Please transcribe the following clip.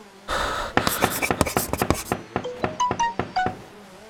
мульт как я встретил вашу маму сезон восемь пятый эпизод